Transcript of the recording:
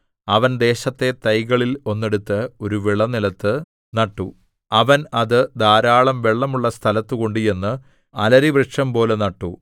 അവൻ ദേശത്തെ തൈകളിൽ ഒന്നെടുത്ത് ഒരു വിളനിലത്തു നട്ടു അവൻ അത് ധാരാളം വെള്ളമുള്ള സ്ഥലത്ത് കൊണ്ടുചെന്ന് അലരിവൃക്ഷംപോലെ നട്ടു